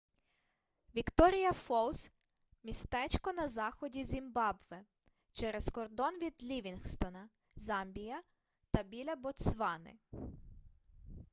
вікторія фолз містечко на заході зімбабве через кордон від лівінгстона замбія та біля ботсвани